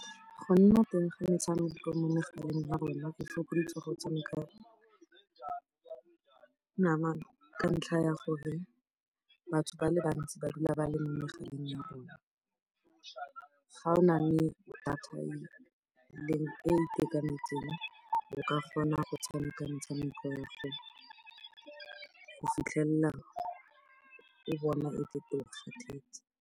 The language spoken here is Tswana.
Go nna teng ga metshameko mo megaleng ya rona go fokoditse go tshameka namana ka ntlha ya gore batho ba le bantsi ba dula ba le mo megaleng ya bona. Ga o na le data e e itekanetseng o ka kgona go tshameka metshameko yago fela go fitlhella e bona ekete o kgathetse.